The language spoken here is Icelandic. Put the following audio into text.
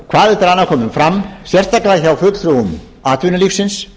hvað eftir komið fram sérstaklega hjá fulltrúum atvinnulífsins